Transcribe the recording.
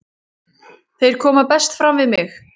Þeir koma best fram við mig.